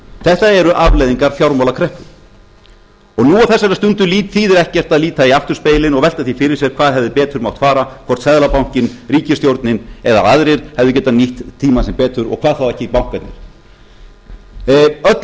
þetta eru afleiðingar fjármálakreppu nú á þessari stundu þýðir ekkert að líta í afturspegilinn og velta því fyrir sér hvað hefði betur mátt fara hvort seðlabankinn ríkisstjórnin eða aðrir hefðu getað nýtt tíma sinn betur og hvað þá ekki bankarnir öllu máli skiptir að við